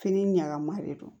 Fini ɲagamama de don